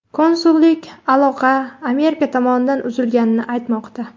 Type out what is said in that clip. Konsullik aloqa Amerika tomonidan uzilganini aytmoqda.